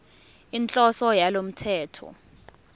inhloso yalo mthetho